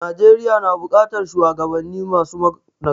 Najeriya nu buƙatar shuwagabanni masu nagarta.